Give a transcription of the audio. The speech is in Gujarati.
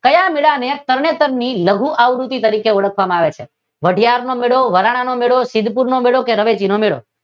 ક્યાં મેળા ને તરણેતર ની લઘુ આવ્રુતિ તરીકે ઓળખવામાં આવે છે? વઢિયાર નો મેળો, વરાણાનો મેળો, સિધ્દ્પુર નો મેળો કે રવેજી નો મેળો